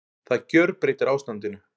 Það gjörbreytir ástandinu